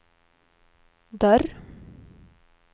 dörr